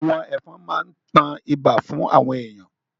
Àwọn ẹ̀fọn máa ń tan ibà fún àwọn èèyàn